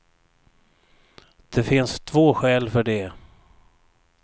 Det finns två skäl för det.